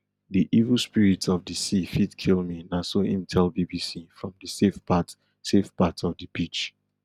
di evil spirits of di sea fit kill me na so im tell bbc from di safe part safe part of di beach